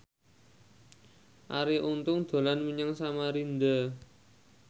Arie Untung dolan menyang Samarinda